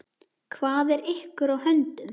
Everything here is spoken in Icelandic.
Hvað er ykkur á höndum?